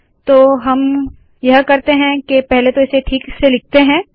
तो हम क्या करते है पहले तो इसे ठीक से लिखते है